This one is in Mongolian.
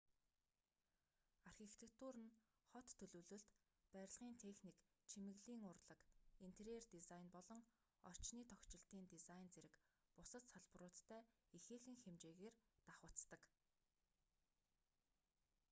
архитектур нь хот төлөвлөлт барилгын техник чимэглэлийн урлаг интерьер дизайн болон орчны тохижилтын дизайн зэрэг бусад салбаруудтай ихээхэн хэмжээгээр давхацдаг